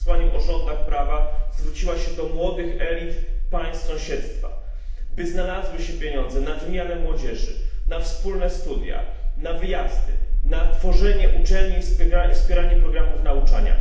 o rządach prawa, zwróciła się do młodych elit państw Sąsiedztwa, by znalazły się pieniądze na wymianę młodzieży, na wspólne studnia, wyjazdy, tworzenie uczelni i wspieranie programów nauczania.